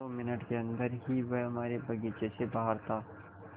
दो मिनट के अन्दर ही वह हमारे बगीचे से बाहर था